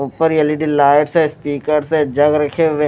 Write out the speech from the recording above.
ऊपर L E D lights है stickers speakers है जग रखे हुए --